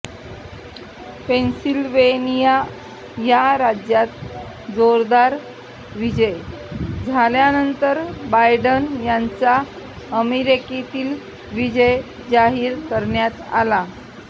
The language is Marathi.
पेनसिल्वेनिया या राज्यात जोरदार विजय झाल्यानंतर बायडन यांचा अमेरिकेतील विजय जाहीर करण्यात आला